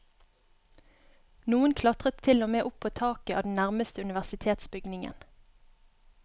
Noen klatret til og med opp på taket av den nærmeste universitetsbygningen.